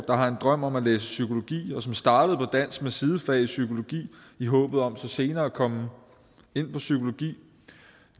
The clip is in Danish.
der har en drøm om at læse psykologi og som startede på dansk med sidefag i psykologi i håbet om så senere at komme ind på psykologi